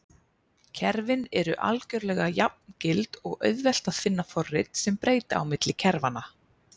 Kerfin eru algjörlega jafngild og auðvelt að finna forrit sem breyta á milli kerfanna.